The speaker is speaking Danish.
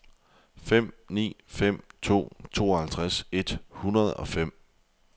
fem ni fem to tooghalvtreds et hundrede og fem